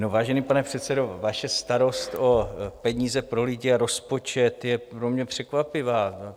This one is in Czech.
No, vážený pane předsedo, vaše starost o peníze pro lidi a rozpočet je pro mě překvapivá.